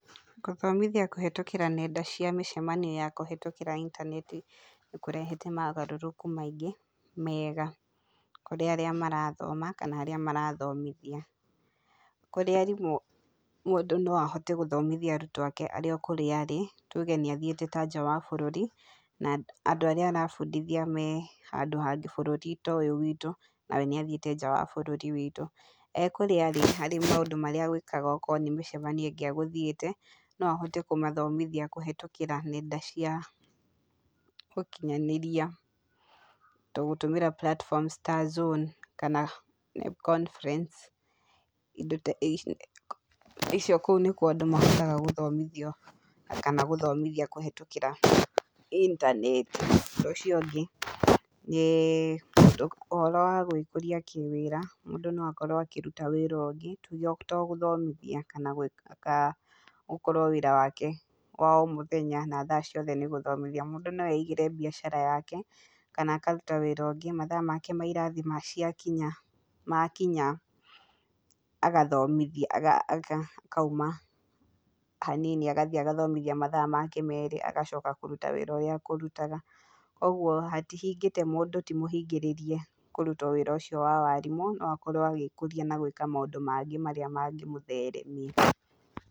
Gũthomithia kũhĩtũkĩra nenda cia mĩcamanio ya kũhĩtũkĩra intaneti nĩ kũrehete magarũrũku maingĩ mega kurĩ arĩa marathoma kana arĩa marathomithia. Kurĩ arimũ mũndũ no ahote gũthomithia arutwo ake arĩ o kũrĩa arĩ. Tuge nĩ athiĩte ta nja wa bũrũri, na andũ arĩa arabundithia me handũ hangĩ, bũrũri ta ũyũ witũ, na we nĩathiĩte nja wa bũrũri witũ. Ee kũrĩa arĩ, arĩ maũndũ marĩa egwĩkaga okorwo nĩ mĩcamanio ĩngĩ egũthiĩte no ahote kũmathomithia kũhetũkĩra nenda cia ũkinyanĩria. Ta gũtũmĩra platforms ta Zoom kana Conference. Indo ta icio kũu nĩkuo andũ mahotaga gũthomithio, kana gũthomithia kũhĩtũkĩra intaneti. Ũndũ ũcio ũngĩ, nĩ ũhoro wa gwĩkũria kĩwĩra. Mũndũ no akorwo akĩruta wĩra ũngĩ, to gũthomothia kana kana gũkorwo wĩra wake wa o mũthenya na thaa ciake ciothe nĩ gũthomithia. Mũndũ no eigĩre mbiacara yake, kana akaruta wĩra ũngĩ. Mathaa make ma irathi ciakinya makinya agathomithia, akauma hanini agathiĩ agathomithia mathaa make merĩ agacoka kũruta wĩra ũrĩa akũrutaga. Kogwo hatihingĩte, mũndũ ti mũhingĩrĩrie kũruta o wĩra ũcio wa warimu. No akorwo agĩkũria na gwĩka maũndũ mangĩ marĩa mangĩmũtheremia.